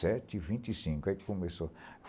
sete e vinte e cinco aí que começou.